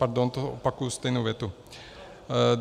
Pardon, to opakuji stejnou větu.